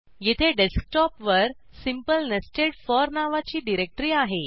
येथे डेस्कटॉप वर simple nested for नावाची डिरेक्टरी आहे